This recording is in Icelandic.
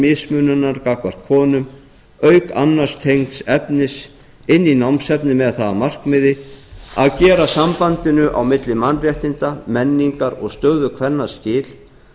mismunar gagnvart konum auk annars tengds efnis inn í námsefnið með það að markmiði að gera sambandinu á milli mannréttinda menningar og stöðu kvenna skil